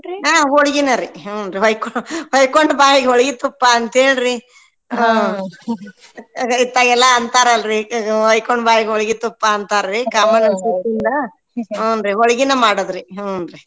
ಹೋಳ್ಗಿನರಿ ಹ್ಞೂನ್ರಿ ಹೊಯ್ಕ್~ ಹೊಯ್ಕೊಂದ್ ಬಾಯಿಗ್ ಹೋಳ್ಗಿ ತುಪ್ಪ ಅಂತೇಳ್ರಿ ಇತ್ತಾಗೆಲ್ಲಾ ಅಂತಾರಲ್ರಿ ಹೊಯ್ಕೊಂದ್ ಬಾಯಿಗ್ ಹೋಳ್ಗಿ ತುಪ್ಪ ಅಂತಾರ್ರಿ ಹೋಳ್ಗಿನ ಮಾಡೋದ್ರಿ ಹ್ಞೂನ್ರಿ.